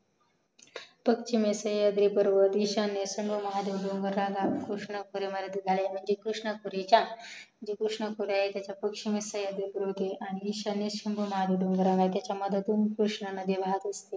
पच्चीमेचे सह्याद्रि पर्वत इश्यान्य महादेव डोंगर म्हणजे कृष्णपुरेचा जे कृष्णापूर आहे त्याचा सहयद्रि पर्वत आहे आणि इश्यन्य शंभू महादेव डोंगर आहे त्याच्या मधून कृष्णा नदी वाहते